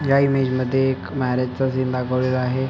ह्या इमेज मध्ये एक मॅरेज चा सीन दाखवलेला आहे.